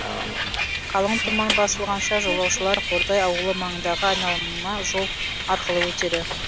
қалың тұман басылғанша жолаушылар қордай ауылы маңындағы айналма жол арқылы өтеді